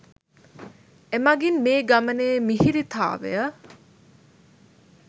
එමගින් මේ ගමනේ මිහිරිතාවය